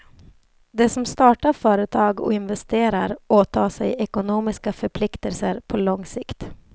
De som startar företag och investerar åtar sig ekonomiska förpliktelser på lång sikt.